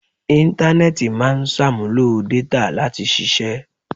Intanẹẹti máa ń ṣàmúlò détà láti ṣiṣẹ́